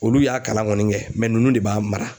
Olu y'a kalan kɔni kɛ nunnu de b'a mara.